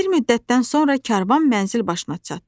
Bir müddətdən sonra karvan mənzil başına çatdı.